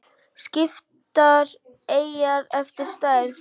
Skiptar eyjar eftir stærð